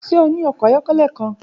Ṣe o ni ọkọ ayọkẹlẹ kan?